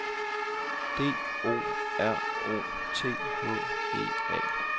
D O R O T H E A